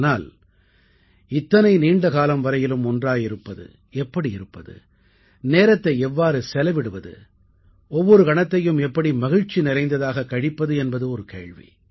ஆனால் இத்தனை நீண்ட காலம் வரையிலும் ஒன்றாக இருப்பது எப்படி இருப்பது நேரத்தை எவ்வாறு செலவிடுவது ஒவ்வொரு கணத்தையும் எப்படி மகிழ்ச்சி நிறைந்ததாகக் கழிப்பது என்பது ஒரு கேள்வி